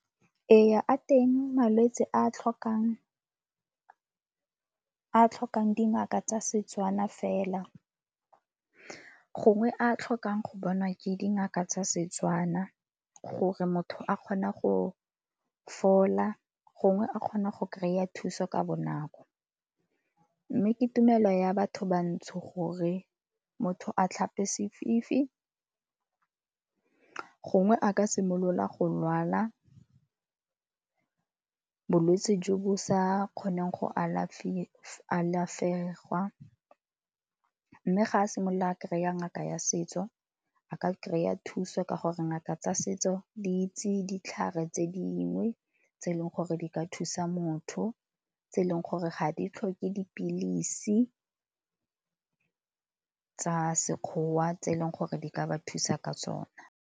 Ee, a teng malwetse a a tlhokang, a a tlhokang dingaka tsa Setswana fela gongwe a tlhokang go bonwa ke dingaka tsa Setswana gore motho a kgona go fola, gongwe a kgona go kry-a thuso ka bonako. Mme ke tumelo ya batho bantsho gore motho a tlhape sefifi, gongwe a ka simolola go lwala bolwetsi jo bo sa kgoneng go alafegwa. Mme ga a simolola kry-a ngaka ya setso a ka kry-a thuso ka gore ngaka tsa setso di itse ke ditlhare tse dingwe tse e leng gore di ka thusa motho, tse e leng gore ga e tlhoke ke dipilisi tsa sekgowa tse e leng gore di ka ba thusa ka sona.